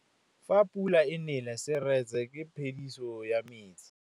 Fa pula e nelê serêtsê ke phêdisô ya metsi.